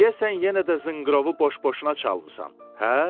Deyəsən yenə də zınqırovu boş-boşuna çalmısan, hə?